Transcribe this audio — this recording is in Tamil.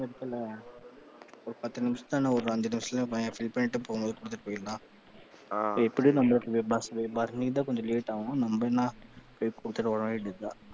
ஒரு பத்து நிமிசத்துல இல்லை ஒரு அஞ்சு நிமிசத்துல fill பண்ணிட்டு போகும்போது கொடுத்துட்டு போயிடலாம். ஆ எப்படியும் நம்மளுக்கு bus பரணிக்கு தான் கொஞ்சம் late ஆகும் நம்ம என்ன போய் கொடுத்துட்டு வர வேண்டியது தான்.